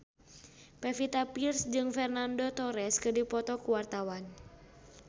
Pevita Pearce jeung Fernando Torres keur dipoto ku wartawan